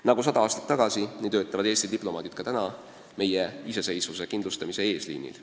Nagu 100 aastat tagasi, nii töötavad Eesti diplomaadid ka praegu meie iseseisvuse kindlustamise eesliinil.